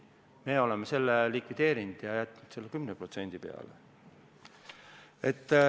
Me oleme selle likvideerinud ja jätnud selle 10% peale.